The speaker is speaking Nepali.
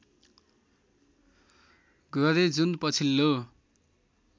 गरे जुन पछिल्लो